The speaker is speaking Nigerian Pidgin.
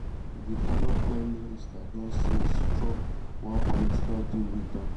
di former prime minister don since struck one political deal wit um